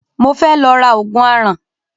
Mo fẹ́ lọ ra Ògùn aràn